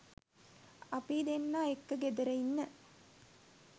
අපි දෙන්න එක්ක ගෙදර ඉන්න